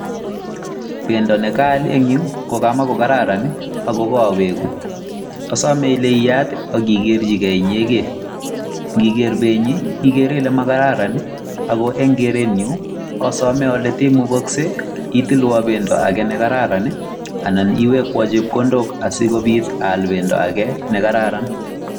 Bendo ne kaal en yu ko kamakokararan ago kowegu. Asome ile iyaat ak igerchige inyegen. Ngiker benyi igere ile magararan ago en kerenyun osome ole ndaimukokse itilwan bendo ne kararan anan iwekwon chepkondok asikobiit aal bendo age nekararan.